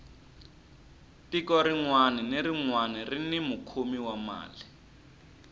tiko rinwani na rinwani rini mukhomi wa mali